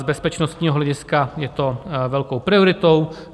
Z bezpečnostního hlediska je to velkou prioritou.